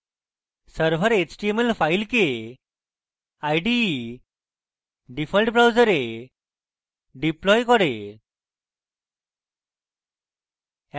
server html file ide default browser deploys করে